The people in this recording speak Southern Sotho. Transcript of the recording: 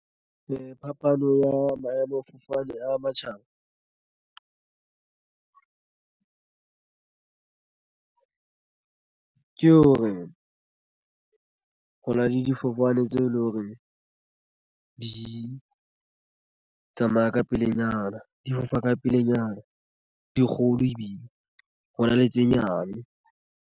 Ee, phapano ya maemofofane a matjhaba ke hore ho na le difofane tseo e leng hore di tsamaya ka pelenyana di fofa ka pelenyana dikgolo ebile hona le tse nyane.